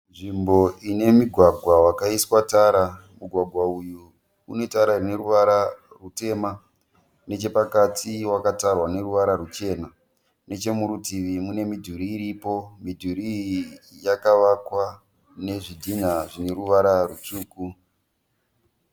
Nzvimbo ine mugwagwa wakaiswa tara, mugwagwa uyu une tara ine ruvara rwutema nechepakati wakatarwa neruvara rwuchena, neche muri rutivi mune midhuri iripo, midhuri iyi yakavakwa nezvi dinha zvine ruvara rwutsvuku.